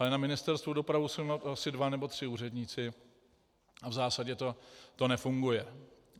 Ale na Ministerstvu dopravy jsou asi dva nebo tři úředníci a v zásadě to nefunguje.